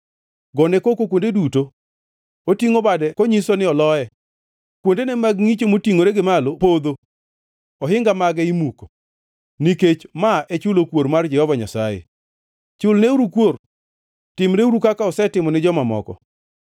Gone koko kuonde duto! Otingʼo bade kanyiso ni oloye, kuondene mag ngʼicho motingʼore gi malo podho, ohinga mage imuko. Nikech ma e chulo kuor mar Jehova Nyasaye, chulneuru kuor; timneuru kaka osetimo ni joma moko.